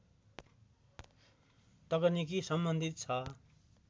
तकनिकी सम्बन्धित छ